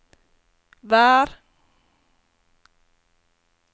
vær